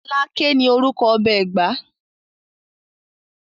Aláké ní orúkọ ọba Ẹ̀gbá